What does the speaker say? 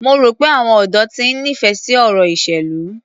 Mo rò pé àwọn ọ̀dọ́ ti ń nífẹ̀ẹ́ sí ọ̀rọ̀ ìṣèlú.